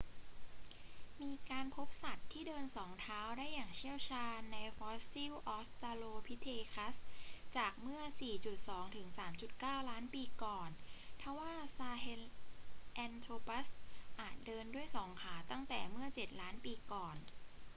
มีการพบสัตว์ที่เดินสองเท้าได้อย่างเชี่ยวชาญในฟอสซิลออสตราโลพิเทคัสจากเมื่อ 4.2-3.9 ล้านปีก่อน ทว่าซาเฮลแอนโทรปัสอาจเดินด้วยสองขาตั้งแต่เมื่อเจ็ดล้านปีก่อน